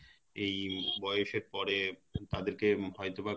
এই বয়সের পরে তাদের কে হয়তো বা